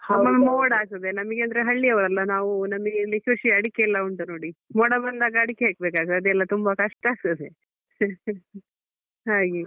ಒಮ್ಮೊಮ್ಮೆ ಮೋಡ ಆಗ್ತದೆ ನಮ್ಗೆ ಅಂದ್ರೆ ಹಳ್ಳಿ ಅವರಲ್ವಾ ನಾವು ನಮ್ಗೆ ಇಲ್ಲಿ ಕೃಷಿ ಅಡಿಕೆ ಎಲ್ಲ ಉಂಟು ನೋಡಿ ಮೋಡ ಬಂದಾಗ ಅಡಿಕೆ ಹೆಕ್ಬೇಕಾಗ್ತದೆ ಅದೆಲ್ಲ ತುಂಬಾ ಕಷ್ಟ ಆಗ್ತದೆ ಹಾಗೆ.